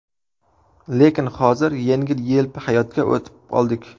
Lekin hozir yengil-yelpi hayotga o‘tib oldik.